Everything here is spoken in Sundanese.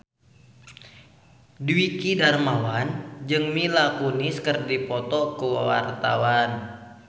Dwiki Darmawan jeung Mila Kunis keur dipoto ku wartawan